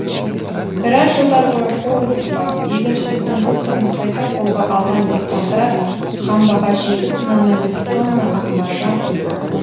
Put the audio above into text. біраз жылдар бойы қол үзіп барып егіншіліктің бұл түрін қайта қолға алған диқандар қамбаға жеті бүтін оннан бес тонна ақ маржан құйды